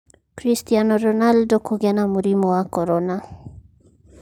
Cristiano Ronaldo kũgĩa na mũrimũ wa corona